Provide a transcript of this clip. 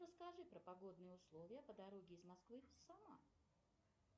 расскажи про погодные условия по дороге из москвы в самару